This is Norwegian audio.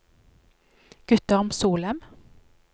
Guttorm Solem